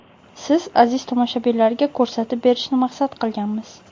siz aziz tomoshabinlarga ko‘rsatib berishni maqsad qilganmiz.